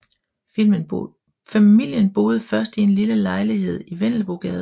Familien boede først i en lille lejlighed i Vendelbogade